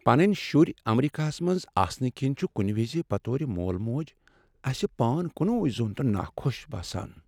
پَنٕنۍ شُرۍ امریکہس منٛز آسنہٕ کِنۍ چھ کُنہ وز بطور مول مٲج اسہ پان کنے زوٚن تہٕ نا خۄش باسان۔